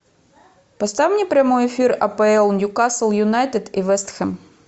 поставь мне прямой эфир апл ньюкасл юнайтед и вест хэм